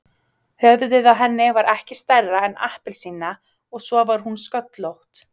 Höfuðið á henni var ekki stærra en appelsína og svo var hún sköllótt.